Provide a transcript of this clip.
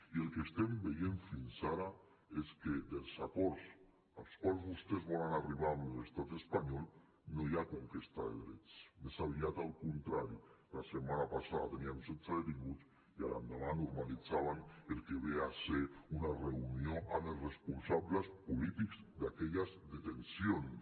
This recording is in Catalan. i el que estem veient fins ara és que en els acords als quals vostès volen arribar amb l’estat espanyol no hi ha conquesta de drets més aviat al contrari la setmana passada teníem setze detinguts i a l’endemà normalitzaven el que ve a ser una reunió amb els responsables polítics d’aquelles detencions